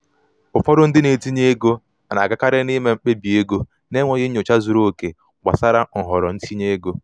ụfọdụ ndị na-etinye ego na-agakarị n'ịme mkpebi ego n’enweghị nnyocha um zuru oke gbasara nhọrọ um itinye um ego.